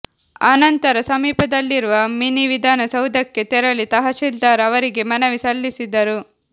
ಅನಂತರ ಸಮೀಪದಲ್ಲಿರುವ ಮಿನಿವಿಧಾನ ಸೌಧಕ್ಕೆ ತೆರಳಿ ತಹಶೀಲ್ದಾರ್ ಅವರಿಗೆ ಮನವಿ ಸಲ್ಲಿಸಿದರು